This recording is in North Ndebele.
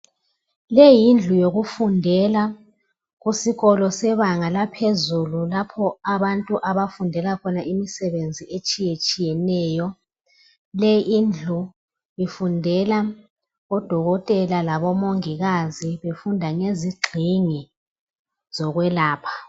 Le yindlu yokufundela kusikolo sebanga laphezulu lapho abantu abafundela khona imisebenzi etshiyetshiyeneyo. Lindlu ifundela odokotela labomongikazi befunda ngezingxingi zokwelapha.